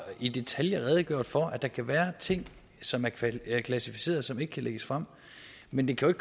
i detaljer har redegjort for at der kan være ting som er klassificeret og som ikke kan lægges frem men det kan